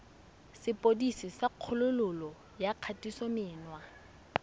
sepodisi sa kgololo ya kgatisomenwa